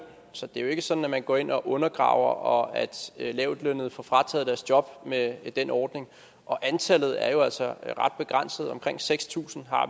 så det er jo ikke sådan at man går ind og undergraver og at lavtlønnede får frataget deres job med den ordning og antallet er jo altså ret begrænset omkring seks tusind